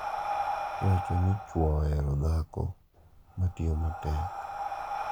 iwacho ni chwo ohero dhako ma tiyo matek.